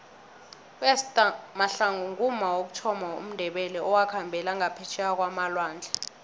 uester mahlangu ngumma wokuthoma womndebele owakhambela ngaphetjheya kwamalwandle